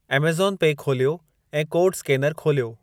Amazon pay खोलियो ऐं code scanner खोलियो।